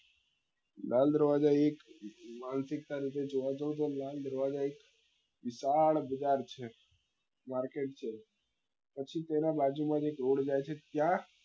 લાલ દરવાજા એક માનસિકતા રૂપે જોવા જાવ તો લાલ દરવાજા એક વિશાળ બજાર છે market છે પછી તેના બાજુ માં એક રોડ જાય છે ત્યાં